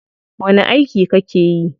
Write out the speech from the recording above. Wani aiki kake yi?